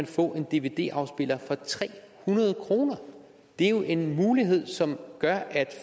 få en dvd afspiller for tre hundrede kroner det er jo en mulighed som gør at